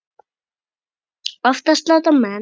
Oftast láta menn